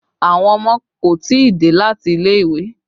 Àwọn ọmọ kò tí ì dé láti ilé ìwé